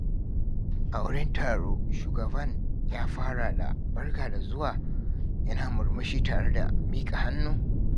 A wurin taro, shugaban ya fara da "Barka da zuwa" yana murmushi tare da miƙa hannu.